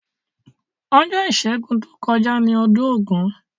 Ojó ìsẹ́gun to kojá ni odún ògún